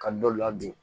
Ka dɔ ladon